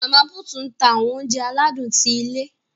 Mama put n tá awọn ounjẹ aladun ti ilé.